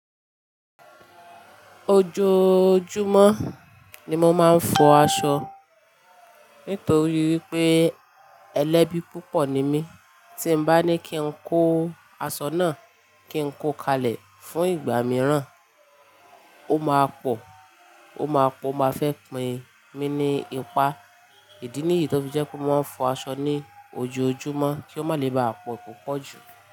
Ojoojúmọ́ ni mo máa ń fọ̀ aṣọ. Nítorí wípé ẹlẹ́bi púpọ̀ ni mí, tí bá ní kí ń kó aṣọ náà kí ń kó kalẹ̀ fún ìgbà mìíràn, ó máa pọ̀, ó máa pọ̀, ó máa fẹ́ pín mi ní ipá. Ìdí ni yí tó fi jẹ́ pé mo fọ̀ aṣọ ní ojoojúmọ́ kí ó má lè baà pọ̀ ní pọ̀pọ̀jù.